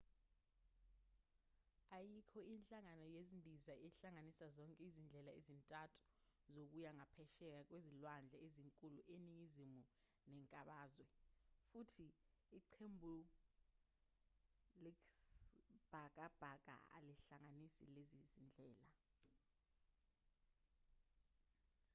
ayikho inhlangano yezindiza ehlanganisa zonke izindlela ezintathu zokuya ngaphesheya kwezilwandle ezinkulu eningizimu nenkabazwe futhi iqembuisibhakabhaka alihlanganisi lezi zindlela